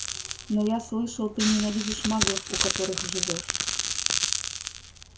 но я слышал ты ненавидишь маглов у которых живёшь